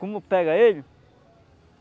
Como pega ele?